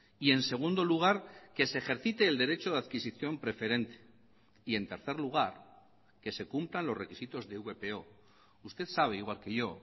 y en segundo lugar que se ejercite el derecho de adquisición preferente y en tercer lugar que se cumplan los requisitos de vpo usted sabe igual que yo